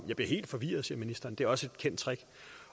jeg bliver helt forvirret siger ministeren det er også et kendt trick